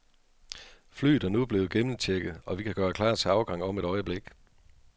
Flyet er nu blevet gennemchecket, og vi kan gøre klar til afgang om et øjeblik.